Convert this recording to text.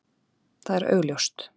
Það er augljóst.